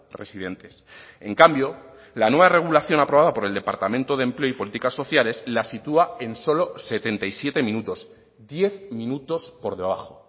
residentes en cambio la nueva regulación aprobada por el departamento de empleo y políticas sociales la sitúa en solo setenta y siete minutos diez minutos por debajo